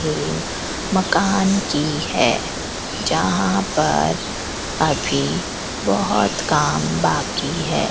इन मकान की है जहां पर अभी बहोत काम बाकी है।